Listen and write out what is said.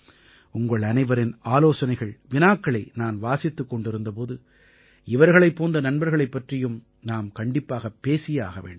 உங்கள் அனைவரின் ஆலோசனைகள் வினாக்களை நான் வாசித்துக் கொண்டிருந்த போது இவர்களைப் போன்ற நண்பர்களைப் பற்றியும் நாம் கண்டிப்பாக பேசியே ஆக வேண்டும்